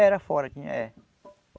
Era fora, tinha é.